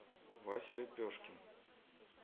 вася лепешкин